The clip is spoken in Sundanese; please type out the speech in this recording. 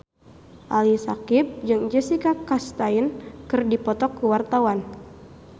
Ali Syakieb jeung Jessica Chastain keur dipoto ku wartawan